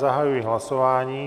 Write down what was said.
Zahajuji hlasování.